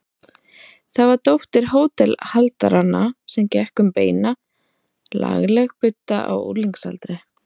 Það var dóttir hótelhaldaranna sem gekk um beina, lagleg budda á unglingsaldri.